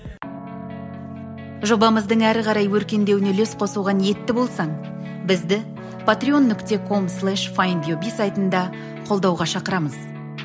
жобамыздың әрі қарай өркендеуіне үлес қосуға ниетті болсаң бізді патрион нүкте ком слеш файндюби сайтында қолдауға шақырамыз